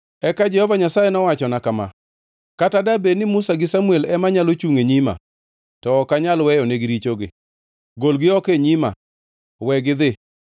Eka Jehova Nyasaye nowachona kama: “Kata dabed ni Musa gi Samuel ema nyalo chungʼ e nyima, to ok anyal weyonegi richogi. Golgi oko e nyima! Wegi gidhi!